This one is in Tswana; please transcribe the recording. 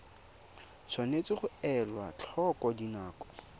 tshwanetse ga elwa tlhoko dinako